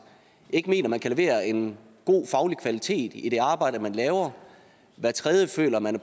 ikke mener man kan levere en god faglig kvalitet i det arbejde man laver og hver tredje føler man